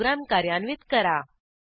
program कार्यान्वित करा